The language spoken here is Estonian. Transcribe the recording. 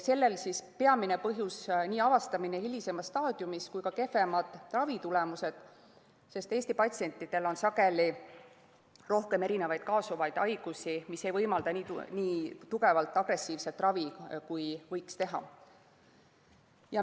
Selle peamine põhjus on nii avastamine hilisemas staadiumis kui ka kehvemad ravitulemused, sest Eesti patsientidel on sageli rohkem kaasuvaid haigusi, mis ei võimalda nii tugevat agressiivset ravi, kui võiks teha.